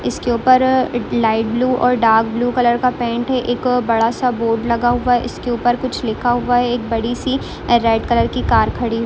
इसके उपर अ लाइट ब्लु और डार्क ब्लु कलर का पेंट है एक बडा सा बोर्ड लगा हुआ है इसके उपर कुछ लिखा हुआ है एक बड़ी सी रेड कलर की कार खडी--